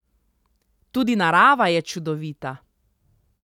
Tudi narava je čudovita.